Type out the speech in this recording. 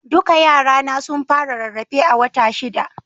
Duka yara na sun fara rarrafe a wata shida